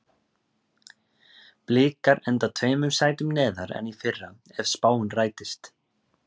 Blikar enda tveimur sætum neðar en í fyrra ef spáin rætist.